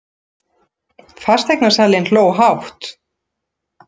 Fasteignasalinn hló hátt.